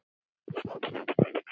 Hann grettir sig.